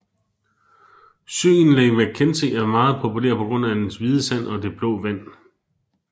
Søen Lake McKenzie er meget populær på grund af dens hvide sand og det blå vand